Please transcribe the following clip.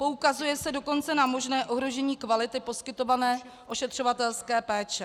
Poukazuje se dokonce na možné ohrožení kvality poskytované ošetřovatelské péče.